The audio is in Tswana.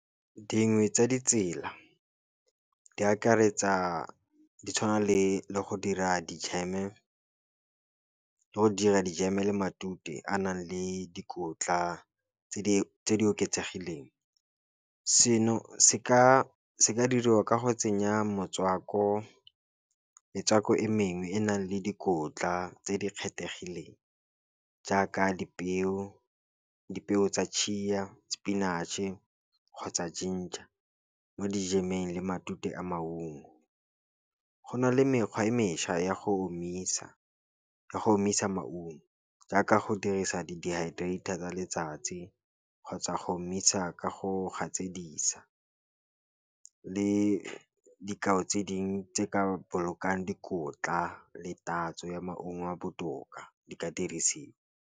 Dingwe tsa ditsela di akaretsa di tshwana le le go dira ka go dira dijeme, matute a nang le dikotla tse di oketsegileng. Seno seka diriwa ka go tsenya metswako e mengwe e e nang le dikotla tse di kgethegileng, tse di jaaka dipeo tsa chia, spinach-e kgotsa ginger, mo dijemeng le matute a maungo. Go na le mekgwa e mešwa ya go omisa, ka go omisa maungo jaaka go dirisa di-dehydrator tsa letsatsi, kgotsa go omisa ka go gatsedisa, le dikao tse ding tse ka bolokang dikotla le tatso ya maungo a a botoka di ka dirisiwa.